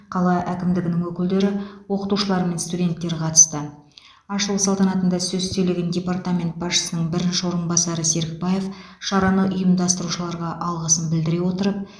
қала әкімдігінің өкілдері оқытушылар мен студенттер қатысты ашылу салтанатында сөз сөйлеген департамент басшысының бірінші орынбасары серікбаев шараны ұйымдастырушыларға алғысын білдіре отырып